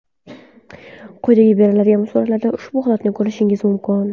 Quyida beriladigan suratlarda ushbu holatni ko‘rishingiz mumkin.